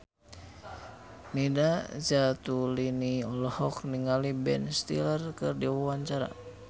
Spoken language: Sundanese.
Nina Zatulini olohok ningali Ben Stiller keur diwawancara